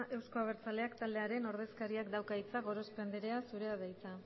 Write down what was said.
eusko abertzaleak taldearen ordezkariak dauka hitza gorospe andrea zurea da hitza